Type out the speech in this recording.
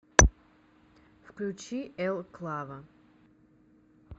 включи эл клаво